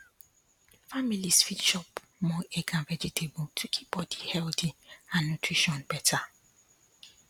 families fit chop more egg and vegetable to keep body healthy and nutrition better